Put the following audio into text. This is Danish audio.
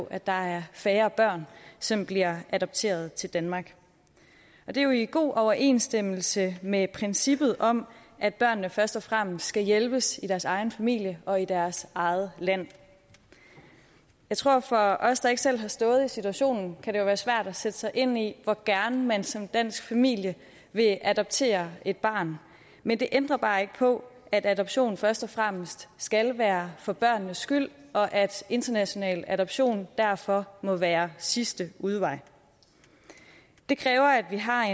at der er færre børn som bliver adopteret til danmark det er jo i god overensstemmelse med princippet om at børnene først og fremmest skal hjælpes i deres egen familie og i deres eget land jeg tror at for os der ikke selv har stået i situationen kan det være svært at sætte sig ind i hvor gerne man som dansk familie vil adoptere et barn men det ændrer bare ikke på at adoption først og fremmest skal være for børnenes skyld og at international adoption derfor må være sidste udvej det kræver at vi har